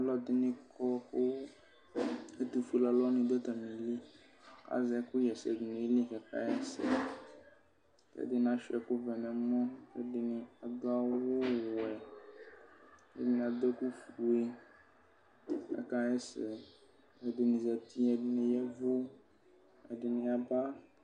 Alʋɛdini kɔ kʋ ɛtʋfue alʋni dʋ atamili azɛ ɛkʋxɛsɛ dʋ nʋ ayili ɛdini asuia ɛkʋvɛ nʋ ɛmɔ kʋ adʋ awʋwɛ ɛdini adʋ ɛkʋfue kʋ akaxɛsɛ ɛdini zati ɛdini ya ɛvʋ ɛdini aba